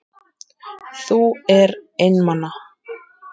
Þú er einmana.